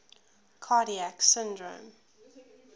cardiac syndrome